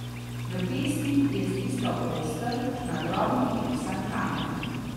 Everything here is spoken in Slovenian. V pesti je stiskal oster, na drobno popisan kamen.